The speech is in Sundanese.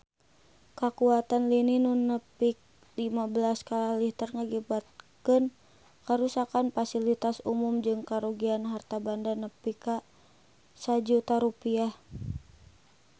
Kakuatan lini nu nepi lima belas skala Richter ngakibatkeun karuksakan pasilitas umum jeung karugian harta banda nepi ka 1 juta rupiah